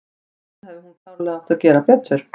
Þarna hefði hún klárlega átt að gera betur.